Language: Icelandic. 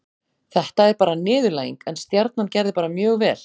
Þetta er bara niðurlæging, en Stjarnan gerði bara mjög vel.